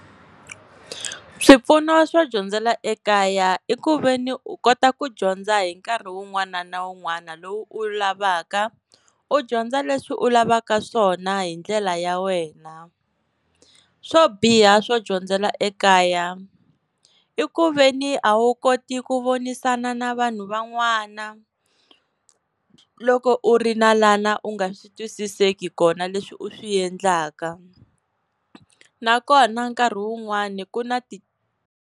Swipfuno swo dyondzela ekaya i ku ve ni u kota ku dyondza hi nkarhi wun'wana na wun'wana lowu u wu lavaka u dyondza leswi u lavaka swona hi ndlela ya wena. Swo biha swo dyondzela ekaya i ku ve ni a wu koti ku vonisana na vanhu van'wana loko u ri lana u nga swi twisiseki kona leswi u swi yendlaka nakona nkarhi wun'wani ku na ti.